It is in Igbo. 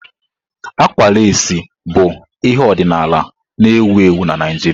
Àgwà lasii bụ ihe ọdịnala na-ewu ewu na Naijiria.